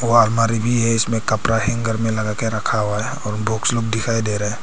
वह अलमारी भी है इसमें कपड़ा हैंगर में लगा के रखा हुआ है और बुक्स लोग दिखाई दे रहे हैं।